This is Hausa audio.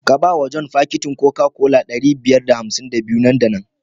Ka ba wa john fakitin Coca-Cola ɗari biyar da hamsin da biyu nan da nan.